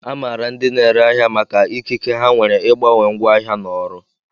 A maara ndị na-ere ahịa maka ikike ha nwere ịgbanwe ngwa ahịa na ọrụ